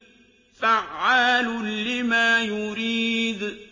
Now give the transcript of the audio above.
فَعَّالٌ لِّمَا يُرِيدُ